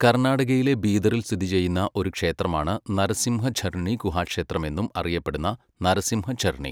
കർണാടകയിലെ ബീദറിൽ സ്ഥിതി ചെയ്യുന്ന ഒരു ക്ഷേത്രമാണ് നരസിംഹ ഝർണി ഗുഹാക്ഷേത്രം എന്നും അറിയപ്പെടുന്ന നരസിംഹ ഝർണി.